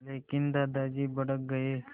लेकिन दादाजी भड़क गए